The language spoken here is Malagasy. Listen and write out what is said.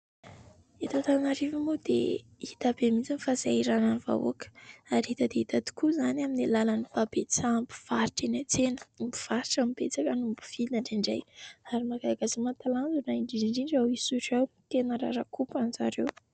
Eto Antananarivo moa dia hita be mihitsy ny fahasahiranan'ny vahoaka ary hita dia hita tokoa izany amin'ny alalan'ny fahabetsaham-pivarotra eny an-tsena. Ny mpivarotra no betsaka noho ny mpividy indraindray ary mahagaga sy mahatalanjona indrindra ao Isotry ao ny tena raraka ompana zareo.